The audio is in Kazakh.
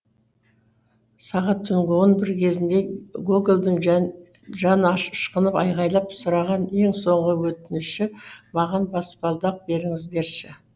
сағат түнгі он бір кезінде гогольдың жаны ашшқынып айғайлап сұраған ең соңғы өтініші маған баспалдақ беріңіздерші